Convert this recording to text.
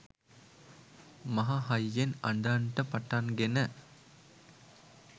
මහ හයියෙන් අඬන්ට පටන් ගෙන